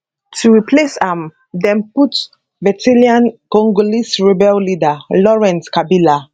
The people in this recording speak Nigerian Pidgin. to replace am dem put veteran congolese rebel leader laurent kabila